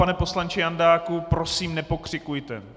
Pane poslanče Jandáku, prosím, nepokřikujte.